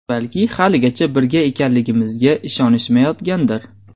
Balki haligacha birga ekanligimizga ishonishmayotgandir.